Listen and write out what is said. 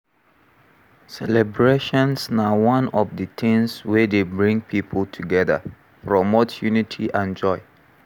Celebrations na one of di tings wey dey bring people together, promote unity and joy.